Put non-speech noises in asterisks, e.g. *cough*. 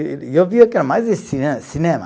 *unintelligible* eu via que era mais cine cinema